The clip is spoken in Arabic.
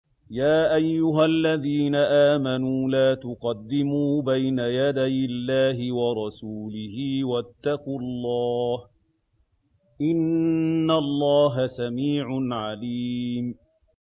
يَا أَيُّهَا الَّذِينَ آمَنُوا لَا تُقَدِّمُوا بَيْنَ يَدَيِ اللَّهِ وَرَسُولِهِ ۖ وَاتَّقُوا اللَّهَ ۚ إِنَّ اللَّهَ سَمِيعٌ عَلِيمٌ